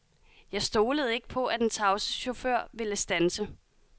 Jeg stolede ikke på, at den tavse chauffør ville standse.